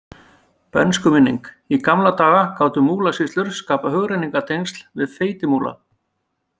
Bernskuminning Í gamla daga gátu Múlasýslur skapað hugrenningartengsl við Feitimúla.